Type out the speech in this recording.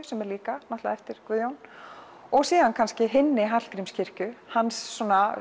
sem er líka eftir Guðjón og síðan henni Hallgrímskirkju hans